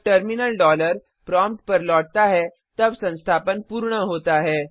जब terminal dollar prompt पर लौटता तब संस्थापन पूर्ण होता है